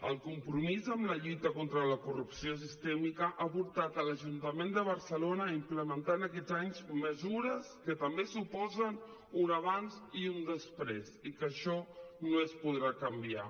el compromís en la lluita contra la corrupció sistèmica ha portat l’ajuntament de barcelona a implementar aquests anys mesures que també suposen un abans i un després i que això no es podrà canviar